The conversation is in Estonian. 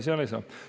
Seal ei saa.